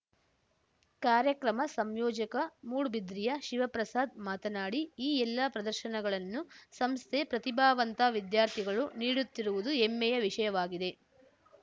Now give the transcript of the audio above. ಕಾರ್ಯಕ್ರಮ ಸಂಯೋಜಕ ಮೂಡ್ ಬಿದ್ರಿಯ ಶಿವಪ್ರಸಾದ್‌ ಮಾತನಾಡಿ ಈ ಎಲ್ಲ ಪ್ರದರ್ಶನಗಳನ್ನು ಸಂಸ್ಥೆ ಪ್ರತಿಭಾವಂತ ವಿದ್ಯಾರ್ಥಿಗಳು ನೀಡುತ್ತಿರುವುದು ಹೆಮ್ಮೆಯ ವಿಷಯವಾಗಿದೆ